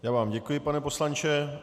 Já vám děkuji, pane poslanče.